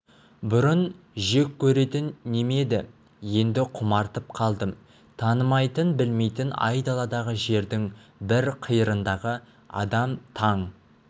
бұрын жек көретін неме еді енді құмартып қалдым танымайтын білмейтін айдаладағы жердің бір қиырындағы адам таң